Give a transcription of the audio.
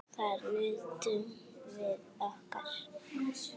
Þar nutum við okkar.